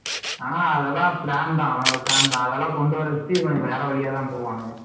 ஆனா plan தான் அதெல்லாம் இவனோட plan தான் அதெல்லாம் கொண்டுவரத்துக்கு இவன் வேற வழியா தான் போவானுங்க.